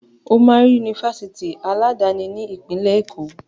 Ó máa rí Yunifásitì aládani ní ìpínlẹ̀ Èkó.